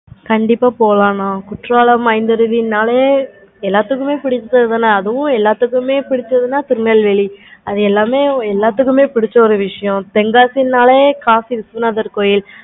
கண்டிப்பா போலாம் mam குற்றாலம் ஐந்தருவினாலே எல்லாத்துக்குமே பிடிச்சது தான அதுவும் எல்லாத்துக்குமே பிடிச்சது தான் திருநெல்வேலி அது எல்லாமே எல்லாத்துக்கும் பிடிச்ச விஷயம் தென்காசினாலே காசிநாதர் கோவில் இருக்கும்